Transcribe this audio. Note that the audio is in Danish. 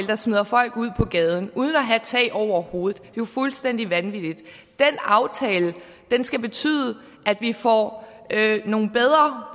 der smider folk ud på gaden uden at de har tag over hovedet er jo fuldstændig vanvittigt den aftale skal betyde at vi får nogle bedre